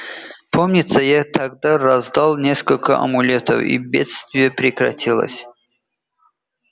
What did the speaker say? помнится я тогда раздал несколько амулетов и бедствие прекратилось